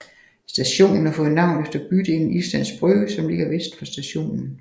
Stationen har fået navn efter bydelen Islands Brygge som ligger vest for stationen